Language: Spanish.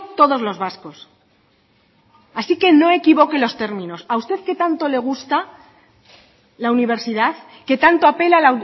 todos los vascos así que no equivoque los términos a usted que tanto le gusta la universidad que tanto apela